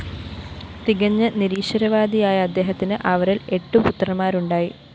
തികഞ്ഞ നിരീശ്വരവാദിയായ അദ്ദേഹത്തിന് അവരില്‍ എട്ടുപുത്രന്മാരുണ്ടായി